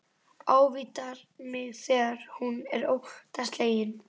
Ávítar mig þegar hún er óttaslegin.